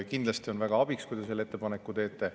Kindlasti on väga abiks, kui te selle ettepaneku teete.